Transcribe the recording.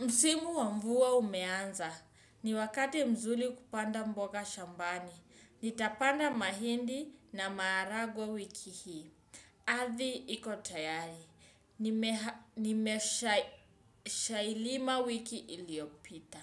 Msimu wa mvua umeanza, ni wakati mzuli kupanda mboga shambani. Nitapanda mahindi na maharagwe wiki hii. Ardhi iko tayari. Nimeshailima wiki iliopita.